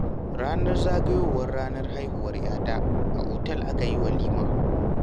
Ranar zagayowar ranar haihuwar 'ya ta, a otal aka yi walima.